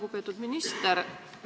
Lugupeetud minister!